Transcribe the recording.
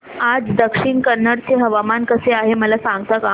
आज दक्षिण कन्नड चे हवामान कसे आहे मला सांगता का